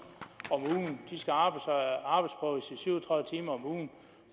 om ugen de skal arbejdsprøves i syv og tredive timer om ugen